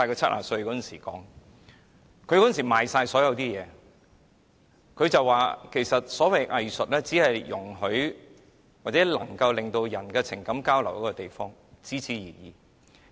他當時已變賣所有資產，並表示所謂藝術，只是讓人進行情感交流的東西，僅此而已。